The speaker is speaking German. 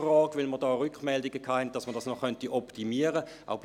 Dies, weil man Rückmeldungen hatte, wonach eine Optimierung möglich sei.